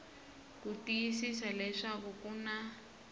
ku tiyisisa leswaku ku na